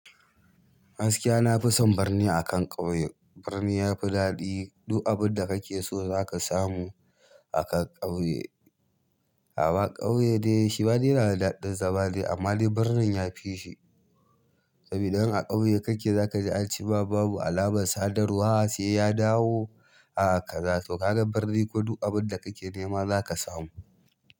Gaskiya na fi son birni akan ƙauye. Birni yafi daɗi, duk abun da kake so zaka samu a kan ƙauye. Ama ƙauye dai shi ma dai na da daɗin zaman dai amma dai birnin yafi shi. Saboda idan a ƙauye kake zaka ji ance ma babu alamar sadarwa, sai ya dawo a haka za su. Kaga birni ko duk abun da kake nema zaka samu.